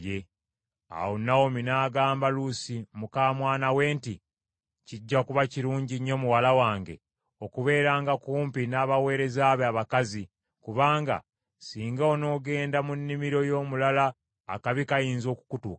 Awo Nawomi n’agamba Luusi muka mwana we nti, “Kijja kuba kirungi nnyo muwala wange, okubeeranga kumpi nabaweereza be abakazi, kubanga singa onoogenda mu nnimiro y’omulala akabi kayinza okukutuukako.”